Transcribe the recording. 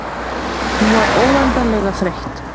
Hún var svo óendanlega þreytt.